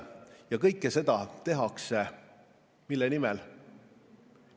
Ja kõike seda tehakse mille nimel?